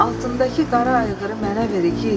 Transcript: Altındakı qara ayğırı mənə ver igid,